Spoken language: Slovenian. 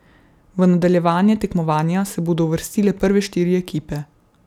V nadaljevanje tekmovanja se bodo uvrstile prve štiri ekipe.